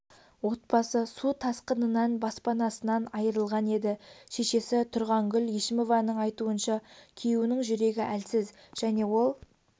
отбасы су тасқынынан баспанасынан айырылған еді шешесі тұрғангүл ешімованың айтуынша күйеуінің жүрегі әлсіз және ол